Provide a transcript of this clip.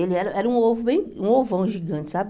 Ele era era um ovo bem um ovão gigante, sabe?